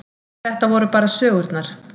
Þetta voru bara sögurnar.